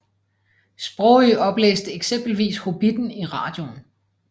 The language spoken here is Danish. Sprogøe oplæste eksempelvis Hobbitten i radioen